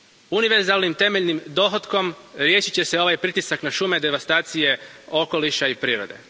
Univerzalnim temeljnih dohotkom riješit će se ovaj pritisak na šume, devastacije okoliša i prirode.